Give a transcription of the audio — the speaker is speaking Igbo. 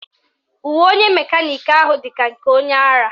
Uwe onye mekaniki ahụ dị ka nke onye ara